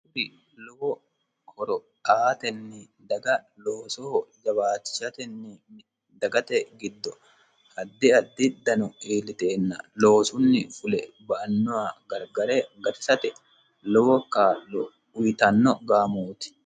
hi lowo horo aatenni dagaloosoho jabaachishatenni dagate giddo hadde addiddano iilliteenna loosunni fule ba annoha gargare garesate lowokkauyitanno gaamooti